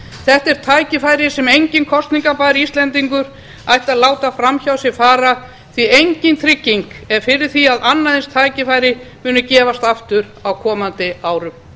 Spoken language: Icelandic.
þetta er tækifæri sem enginn kosningarbær íslendingur ætti að láta fram hjá sér fara því að engin trygging er fyrir því að annað eins tækifæri muni gefast aftur á komandi árum